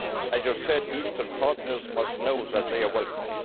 As you said, Eastern partners must know that they are welcome.